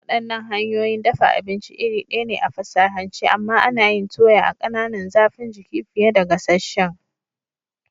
Waɗannan hanyoyin dafa abinci iri ɗaya ne a fasahance, amma ana yin toya a ƙananan zafin jiki fiye da gasasshen.